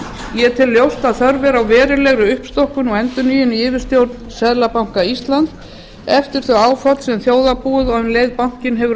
ég tel ljóst að þörf er á verulegri uppstokkun og endurnýjun í yfirstjórn seðlabanka íslands eftir þau áföll sem þjóðarbúið og um leið bankinn hefur